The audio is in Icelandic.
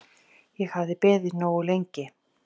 Ég hafði beðið nógu lengi.